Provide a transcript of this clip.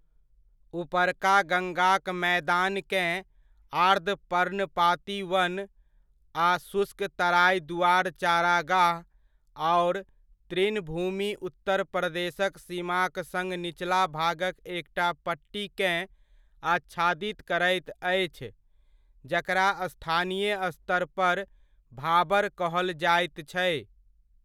ऊपरका गंगाक मैदानकेँ आर्द्र पर्णपाती वन आ शुष्क तराइ दुआर चारागाह आओर तृणभूमि उत्तर प्रदेशक सीमाक सङ्ग निचला भागक एकटा पट्टीकेँ आच्छादित करैत अछि, जकरा स्थानीय स्तरपर भाबर कहल जाइत छै।